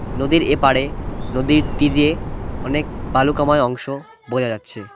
নদীর এপারে নদীর তীরে অনেক বালুকাময় অংশ বোঝা যাচ্ছে।